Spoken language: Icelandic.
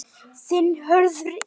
Þinn, Hörður Ingi.